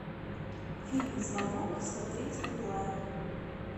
фильм звонок смотреть онлайн